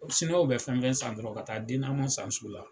Siniwaw bɛ fɛn fɛn san dɔrɔn ka taa dinamo san sugu la